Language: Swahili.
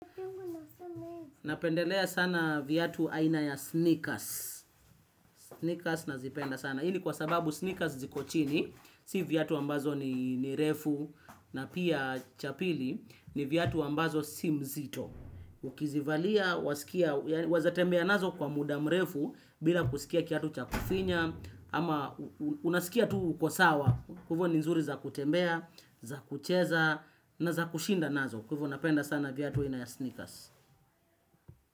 Napendelea sana viatu aina ya sneakers. Sneakers nazipenda sana. Hii kwa sababu sneakers zikochini. Si viatu ambazo ni refu. Na pia cha pili ni viatu ambazo si nzito. Ukizivalia, weza tembea nazo kwa mudamrefu. Bila kusikia kiatu cha kufinya. Ama unasikia tu uko sawa. Kwa hivyo ni nzuri za kutembea, za kucheza na za kushinda nazo. Kwa hivyo napenda sana vyatu aina ya sneakers.